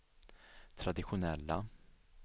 traditionella